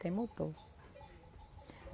Tem motor.